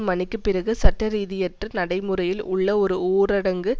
மணிக்குப் பிறகு சட்டரீதியற்ற நடைமுறையில் உள்ள ஒரு ஊரடங்கு